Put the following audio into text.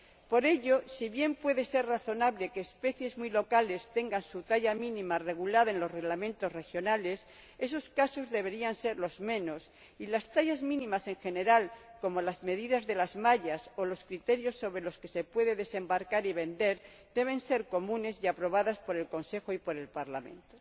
Por ello, si bien puede ser razonable que las especies muy locales tengan su talla mínima regulada en los reglamentos regionales, esos casos deberían ser los menos y las tallas mínimas en general, como las medidas de las mallas o los criterios con arreglo a los cuales se puede desembarcar y vender, deben ser comunes y aprobados por el Consejo y el Parlamento.